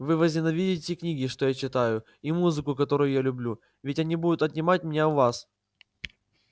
вы возненавидите книги что я читаю и музыку которую я люблю ведь они будут отнимать меня у вас